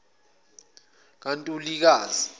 kantulikazi